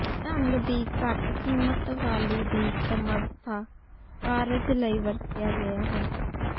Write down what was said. ਢੰਗ ਦੀ ਘੱਟ ਕੀਮਤ ਵਾਲੀ ਦੀ ਸਮਰੱਥਾ ਕਾਰਜ ਲਈ ਵਰਤਿਆ ਗਿਆ ਹੈ